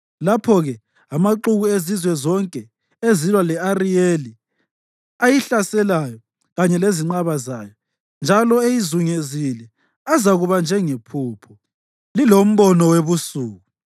Lapho-ke amaxuku ezizwe zonke ezilwa le-Ariyeli, ayihlaselayo kanye lezinqaba zayo, njalo eyizungezile, azakuba njengephupho, lilombono webusuku,